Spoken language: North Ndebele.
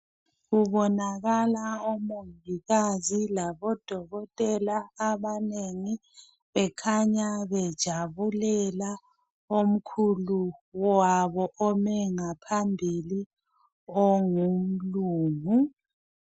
Kubonakala omongikazi labodokotela abanengi bekhanya bejabulela omkhulu wabo ome ngaphambili ongumlungu.